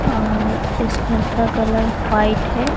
अ इस घर का कलर व्हाइट है।